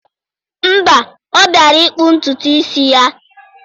Mba, ọ bịara ịkpụ ntutu isi ya.